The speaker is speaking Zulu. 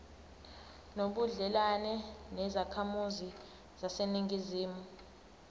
nobudlelwane nezakhamizi zaseningizimu